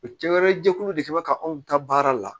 O cɛ wɛrɛ jɛkulu de kɛ mɛ ka anw ta baara la